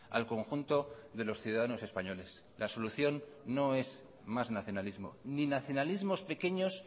al conjunto de los ciudadanos españoles la solución no es más nacionalismo ni nacionalismos pequeños